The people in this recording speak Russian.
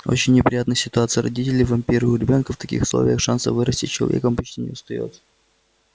очень неприятная ситуация родители-вампиры у ребёнка в таких условиях шансов вырасти человеком почти не остаётся